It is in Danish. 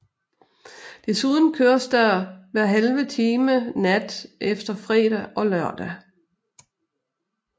Desuden køres der hver halve time nat efter fredag og lørdag